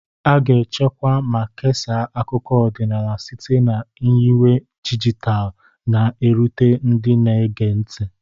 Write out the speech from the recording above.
A ga-echekwa ma kesaa akụkọ ọdịnala site na nyiwe dijitalụ, na-erute ndị na-ege ntị.